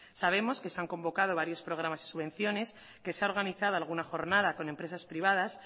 sabemos que se han convocado varios programas y subvenciones que se ha organizado alguna jornada con empresas privadas